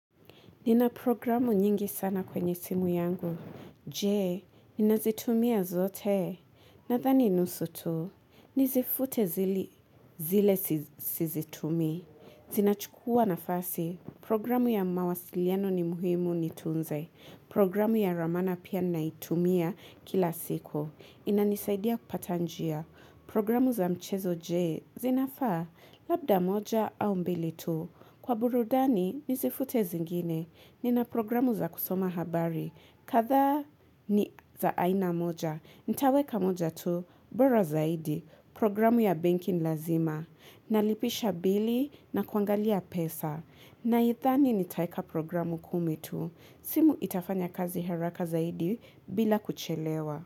Nina programu nyingi sana kwenye simu yangu. Jee, ninazitumia zote? Nadhani nusu tu, nizifute zile sizitumii. Zinachukua nafasi. Programu ya mawasiliano ni muhimu, niitunze. Programu ya ramana pia naitumia kila siku. Inanisaidia kupata njia. Programu za mchezo jee, zinafa labda moja au mbili tu. Kwa burudani, nizifute zingine. Nina programu za kusoma habari, kadhaa ni za aina moja, nitaweka moja tu, bora zaidi, programu ya banki ni lazima, nalipisha bili nakuangalia pesa, nadhani nitaweka programu kumi tu, simu itafanya kazi haraka zaidi bila kuchelewa.